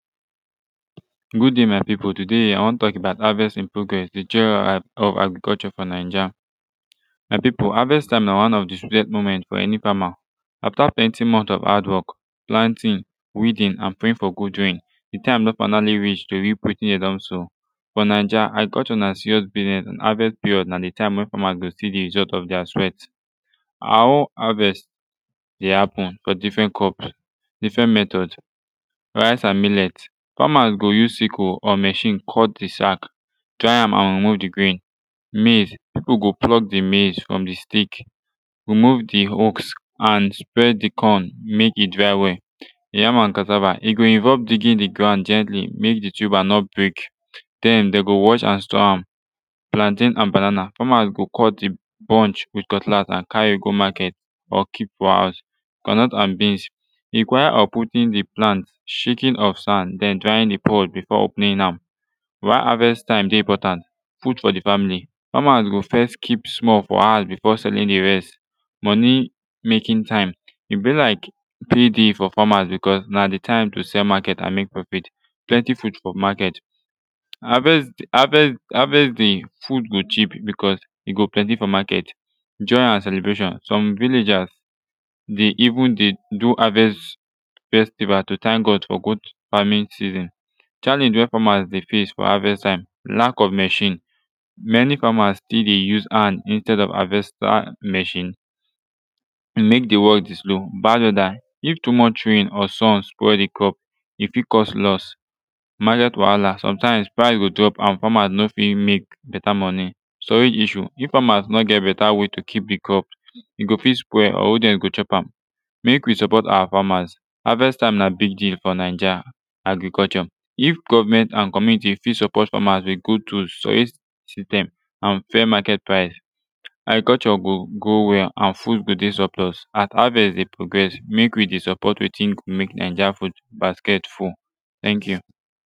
gud day my pipu today i wan tok about harvest in progres de joy of agriculture fo naija my pipu harvest time na one of de sweetest moments fo ani fama after plenti month of hardwork planting weeding and praying fo good rain de time don finally reach to reap wetin e don sow fo naija agriculture na serious business havest period na de taime wey fama go si de result of dier sweat our own harvest de hapen fo difren cups difren metod rice and millet famas go use sickle or machine cut de sack tri am an remove de grain maize pipu go pluck de maize from de stick remove de hucks and spread de corn mek e dry well de yam and cassava e go involve digging de ground gently mek de tuber no break den dem go wash am store am plantain an banana normally yu go cut de bunch wit cutlas and cari go market or kip fo house groundnut an beans require of putin de plant shakin of san and den drying de pot before opening am why havest taime de important food fo de famili famas go fess kip small fo house befo selling de rest moni making taime e bi lyk pay day fo famas becuz na de taime to sell market an mek profit plenti food fo market haves haves harvest day food go cheap becuz e go plenti fo market joy an celebration som villagers de even de do harvest festival to tank god fo gud farmin season challenge wey famas de face fo harvest taime lack of machine many famas stil de use hand instead of havesta machine mek de work de slow gbagadie if too much rain or sun spoil de crop e fit cause los maket wahala somtimz prize fit drop an famas no fit mek beta moni storage issues if famas no get beta way to kip de crop e go fit spoil or who dem go chop am mek we support awa famas havest taime na big deal fo naija agriculture if government an comuniti fit support famas wit gud tools system an fair market price agriculture go go wel and food go de suplus an havest de progress mek we de support wetin go mek naija food basket full tank yu